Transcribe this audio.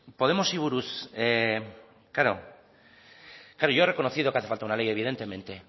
podemosi buruz yo he reconocido que hace falta una ley evidentemente